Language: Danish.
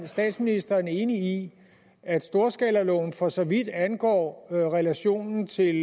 statsministeren enig i at storskalaloven for så vidt angår relationen til